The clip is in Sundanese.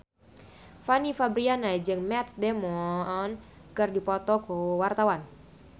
Fanny Fabriana jeung Matt Damon keur dipoto ku wartawan